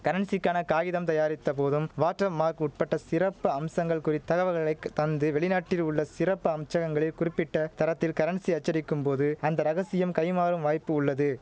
கரன்சிக்கான காகிதம் தயாரித்த போதும் வாட்டர் மார்க் உட்பட்ட சிறப்பு அம்சங்கள் குறித் தகவல்களை தந்து வெளிநாட்டில் உள்ள சிறப்பு அம்சகங்களில் குறிப்பிட்ட தரத்தில் கரன்சி அச்சடிக்கும் போது அந்த ரகசியம் கைமாறும் வாய்ப்பு உள்ளது